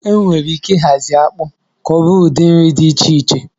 Enwere ike ịhazi akpu ka ọ bụrụ udi nri dị iche iche